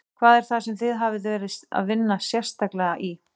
Hvað er það sem þið hafið verið að vinna í sérstaklega?